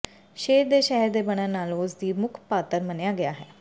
ਸ਼ੇਰ ਦੇ ਸ਼ਹਿਰ ਦੇ ਬਣਨ ਨਾਲ ਉਸ ਦੀ ਮੁੱਖ ਪਾਤਰ ਮੰਨਿਆ ਗਿਆ ਹੈ